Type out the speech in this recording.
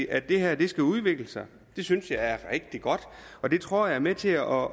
at det her skal udvikle sig det synes jeg er rigtig godt og det tror jeg er med til at